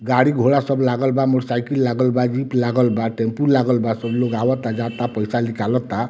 गाड़ी घोड़ा सब लागल बा मोटर साइकिल लागल बा जीप लागल बा टैम्पू लागल बा सब लोग आवता-जाता पैसा निकालाता।